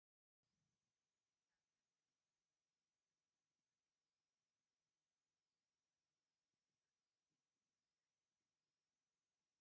ኣብ ኣቅሓ ቀይሕ ሕብሪ ዘለዎ ፍራምረ ተኣኪቡ ኣሎ ብድሕሪኡ ድማ ሓምለዋይ መሬት ኣሎ ። እዚ ዕይነት ፍረ እንታይ ይብሃል ?